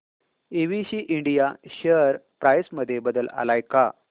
ABC India share price मध्ये बदल आलाय का